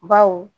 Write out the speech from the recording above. Baw